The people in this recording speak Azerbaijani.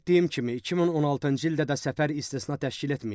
Qeyd etdiyim kimi, 2016-cı ildə də səfər istisna təşkil etməyib.